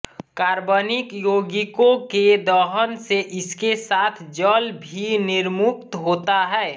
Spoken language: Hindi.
कार्बनिक योगिकों के दहन से इसके साथ जल भी निर्मुक्त होता है